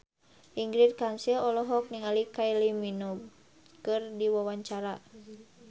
Ingrid Kansil olohok ningali Kylie Minogue keur diwawancara